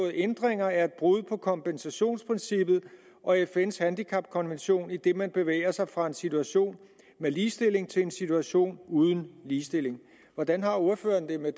ændringer er et brud på kompensationprincippet og fns handicapkonvention idet man bevæger sig fra en situation med ligestilling til en situation uden ligestilling hvordan har ordføreren det med